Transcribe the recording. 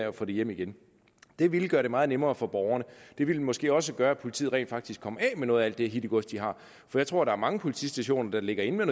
at få det hjem igen det ville gøre det meget nemmere for borgerne det ville måske også gøre at politiet rent faktisk kom af med noget af det hittegods de har for jeg tror der er mange politistationer der ligger inde med